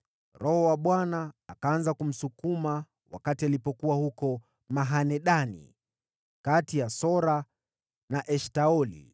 Roho wa Bwana akaanza kumsukuma wakati alipokuwa huko Mahane-Dani, kati ya Sora na Eshtaoli.